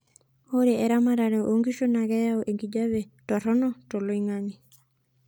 oe eramatare oonkishu naa keyau enkijape toronok tloingangi